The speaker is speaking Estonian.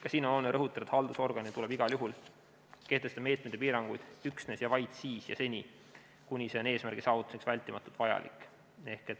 Ka siin on oluline rõhutada, et haldusorganil tuleb igal juhul kehtestada meetmeid ja piiranguid üksnes ja vaid siis ja seni, kuni see on eesmärgi saavutamiseks vältimatult vajalik.